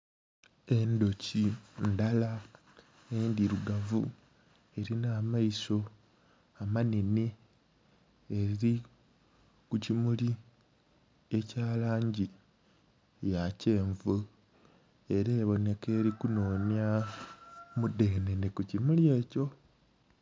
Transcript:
Endhuki ndhala endhilugavu elinha amaiso amanhenhe eri kukimuli ekyalangi eya kyenvu era ebonheka eri kunhonya mudhenhenhe kukimuli ekyo.